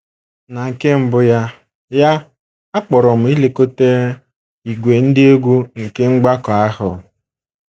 Na nke mbụ ya ya, a kpọrọ m ilekọta ìgwè ndị egwú nke mgbakọ ahụ.